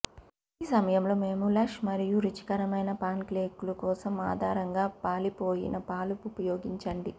ఈ సమయంలో మేము లష్ మరియు రుచికరమైన పాన్కేక్లు కోసం ఆధారంగా పాలిపోయిన పాలు ఉపయోగించండి